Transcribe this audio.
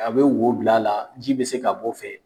A bɛ wo bila la ji bɛ se ka bɔ fɛ.